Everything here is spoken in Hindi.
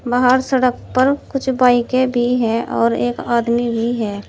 बाहर सड़क पर कुछ बाइके भी है और एक आदमी भी है।